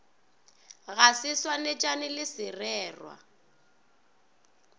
ga se swanetšane le sererwa